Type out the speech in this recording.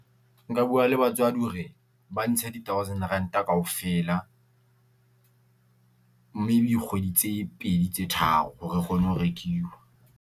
Nka bua le batswadi hore ba ntshe di thousand ranta kaofela, maybe kgwedi tse pedi tse tharo hore re kgone ho rekiwa.